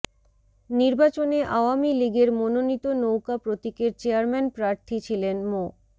নির্বাচনে আওয়ামী লীগের মনোনীত নৌকা প্রতীকের চেয়ারম্যান প্রার্থী ছিলেন মো